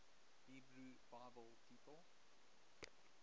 hebrew bible people